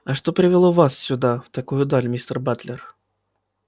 а что привело вас сюда в такую даль мистер батлер